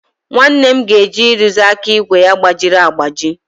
Nnanne m ga-eje ịrụzi aka ígwè ya gbajiri agbaji.